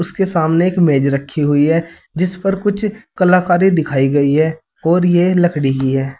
उसके सामने एक मेज रखी हुई है जिस पर कुछ कलाकारी दिखाई गई है और ये लकड़ी की है।